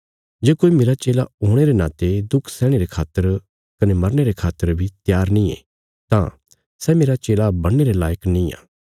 जे कोई मेरा चेला होणे रे नाते दुख सैहणे रे खातर कने मरने रे खातर बी त्यार नींये तां सै मेरा चेला बणने रे लायक नींआ